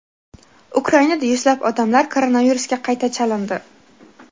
Ukrainada yuzlab odamlar koronavirusga qayta chalindi.